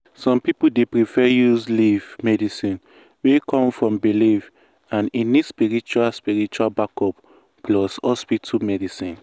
some people dey prefer use leaf medicine wey come from belief and e need spiritual spiritual backup plus hospital medicine.